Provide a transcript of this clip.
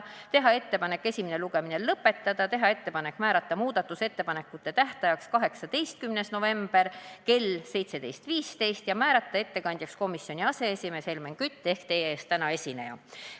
Otsustati teha ettepanekud esimene lugemine lõpetada ja määrata muudatusettepanekute esitamise tähtajaks 18. november kell 17.15 ning ettekandjaks määrati komisjoni aseesimees Helmen Kütt ehk täna teie ees esineja.